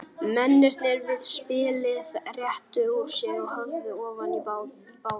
Mennirnir við spilið rétta úr sér og horfa ofan í bátinn.